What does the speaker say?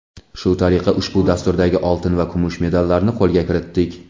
Shu tariqa ushbu dasturdagi oltin va kumush medallarni qo‘lga kiritdik!.